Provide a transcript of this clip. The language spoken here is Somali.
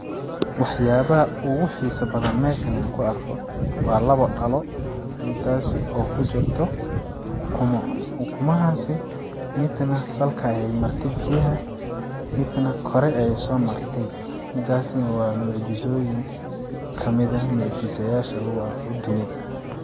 Waxyaabaha oogu xisa badan meshani kaarko waa laba dhalo midaasi oo kujirto ukuma, ukumahaasi midna salka ayay marte biyaha midna kor ayay soomartey midaasi nah waa mucjisoyin kamid ah mucjisayaasha lagu arko dunida.